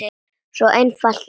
Svo einfalt er það!